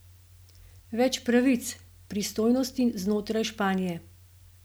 Več pravic, pristojnosti znotraj Španije?